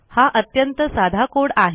हा अत्यंत साधा कोड आहे